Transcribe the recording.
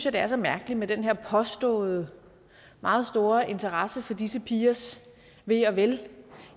at det er så mærkeligt med den her påståede meget store interesse for disse pigers ve og vel